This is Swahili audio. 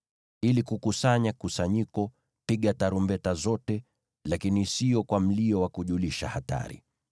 Ili kukusanya kusanyiko, piga tarumbeta zote, lakini siyo kwa mlio wa kujulisha hatari.